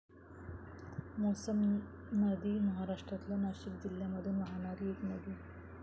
मौसम नदी महाराष्ट्रातल्या नाशिक जिल्ह्यामधून वाहणारी एक नदी आहे.